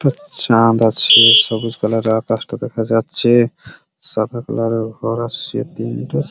একটা চাঁদ আছে সবুজ কালার -এর আকাশ টা দেখা যাচ্ছে সাদা কালার -এর ঘর আছে তিনটা--